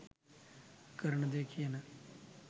කරන දෙය කියන,